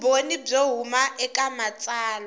vumbhoni byo huma eka matsalwa